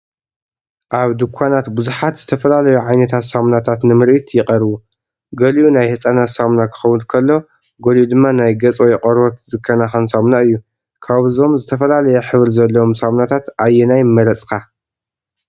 ኣብ ድኳናት ብዙሓት ዝተፈላለዩ ዓይነታት ሳሙናታት ንምርኢት ይቐርቡ። ገሊኡ ናይ ህጻናት ሳሙና ክኸውን ከሎ፡ ገሊኡ ድማ ናይ ገጽ ወይ ቆርበት ዝከናኸን ሳሙና እዩ። ካብዞም ዝተፈላለየ ሕብሪ ዘለዎም ሳሙናታት ኣየናይ ምመረጽካ?